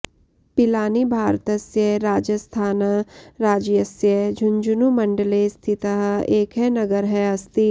पिलानी भारतस्य राजास्थान् राज्यस्य झुंझुनू मण्डले स्थितः एकः नगरः अस्ति